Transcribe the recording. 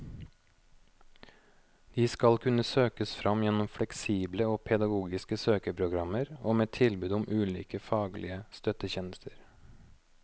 De skal kunne søkes fram gjennom fleksible og pedagogiske søkeprogrammer og med tilbud om ulike faglige støttetjenester.